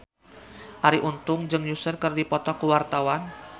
Arie Untung jeung Usher keur dipoto ku wartawan